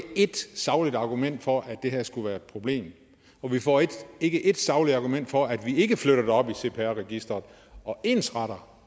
et sagligt argument for at det her skulle være et problem vi får ikke ét sagligt argument for at vi ikke flytter det op i cpr registeret og ensretter